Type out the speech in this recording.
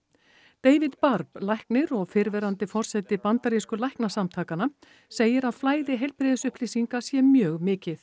David læknir og fyrrverandi forseti bandarísku læknasamtakanna segir að flæði heilbrigðisupplýsinga sé mjög mikið